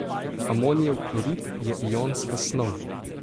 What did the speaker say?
Amonijev klorid je ionska snov.